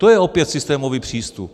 To je opět systémový přístup.